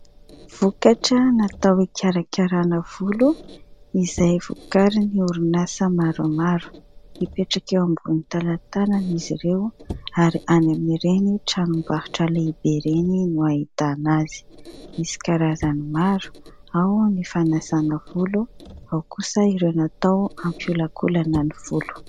Vokatra natao hikarakarana volo izay vokarin'ny orinasa maromaro : mipetraka eo ambonin'ny talantalana izy ireo ary any amin'ireny tranombarotra lehibe ireny no ahitana azy, misy karazany maro ao ny fanasana volo, ao kosa ireo natao hampiholakolana ny volo.